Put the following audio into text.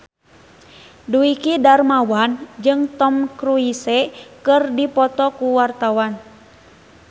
Dwiki Darmawan jeung Tom Cruise keur dipoto ku wartawan